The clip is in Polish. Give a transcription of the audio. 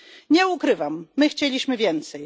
Nie ukrywam, my chcieliśmy więcej.